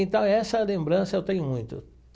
Então essa lembrança eu tenho muito.